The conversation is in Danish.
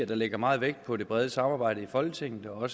der lægger meget vægt på det brede samarbejde i folketinget og